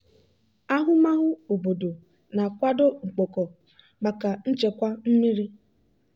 ahụmahụ obodo na-akwado mkpoko maka nchekwa mmiri.